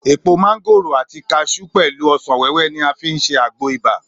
Èpò mángòrò àti kaṣú pẹ̀lú ọ̀sán wẹ́wẹ́ ni wà á fi ṣe àgbo ibà